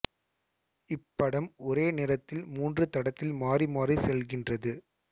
இப்படம் ஒரே நேரத்தில் மூன்று தடத்தில் மாறி மாறிச் செல்கின்றது